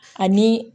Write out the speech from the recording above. Ani